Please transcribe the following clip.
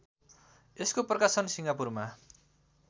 यसको प्रकाशन सिङ्गापुरमा